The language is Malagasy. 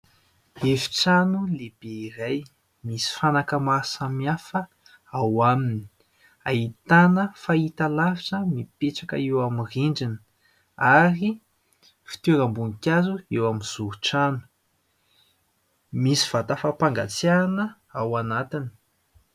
Efi-trano lehibe iray misy fanaka maro samihafa ao aminy : ahitana fahitalavitra mipetraka eo amin'ny rindrina ary fitoeram-boninkazo ; eo amin'ny zoron-trano misy vata fampangatsiahana ao anatiny.